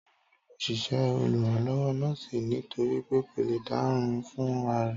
Táyò nílò òṣìṣẹ́ oluranlowo nọ́ọ́sì nítorípé kò le dárìn fún ra rẹ̀